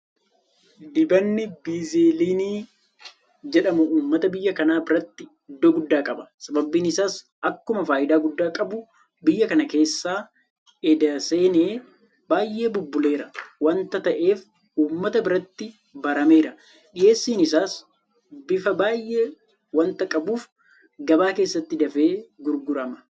Dibanni Baaziliinii jedhamu uummata biyya kanaa biratti iddoo guddaa qaba. Sababni isaas akkuma faayidaa guddaa qabu biyya kana keessa edda seenee baay'ee bubbuleera waanta ta'eef uummata biratti barameera. Dhiyeessiin isaas bifa baay'ee waanta qabuuf gabaa keessatti dafee gurgurama.